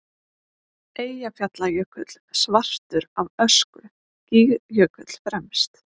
Eyjafjallajökull svartur af ösku, Gígjökull fremst.